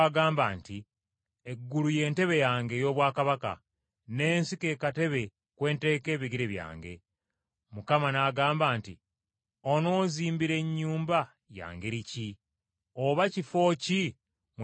“ ‘Eggulu y’entebe yange ey’obwakabaka. N’ensi ke katebe kwe nteeka ebigere byange. Mukama n’agamba nti, Ononzimbira nnyumba ya ngeri ki? Oba kifo ki mwe ndiwummulira?